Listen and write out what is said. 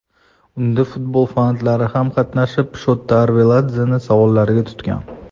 Unda futbol fanatlari ham qatnashib, Shota Arveladzeni savollarga tutgan.